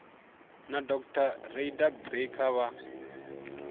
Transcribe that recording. na dr rayda becker vha